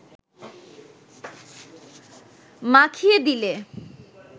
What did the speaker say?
মাখিয়ে দিলে